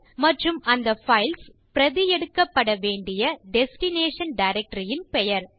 மற்றும் அந்த பைல்ஸ் பிரதி எடுக்கப்படவேண்டிய டெஸ்டினேஷன் டைரக்டரி ன் பெயர்